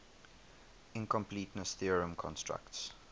incompleteness theorem constructs